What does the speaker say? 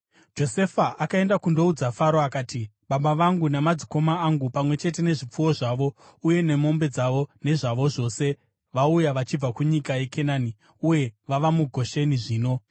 Josefa akaenda akandoudza Faro akati, “Baba vangu namadzikoma angu, pamwe chete nezvipfuwo zvavo uye nemombe dzavo nezvavo zvose, vauya vachibva kunyika yeKenani uye vava muGosheni zvino.”